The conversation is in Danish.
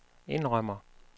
indrømmer